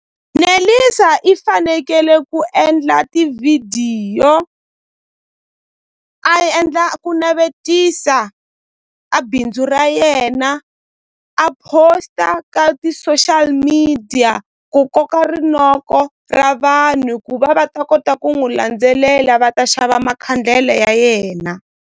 Nelisa i fanekele ku endla tivhidiyo a endla ku navetisa a bindzu ra yena a post-a ka ti-social media ku koka rinoko ra vanhu ku va va ta kota ku n'wi landzelela va ta xava makhandlele ya yena.